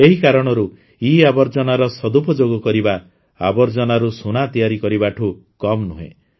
ଏହି କାରଣରୁ ଇଆବର୍ଜନାର ସଦୁପଯୋଗ କରିବା ଆବର୍ଜନାରୁ ସୁନା ତିଆରି କରିବାଠୁ କମ୍ ନୁହେଁ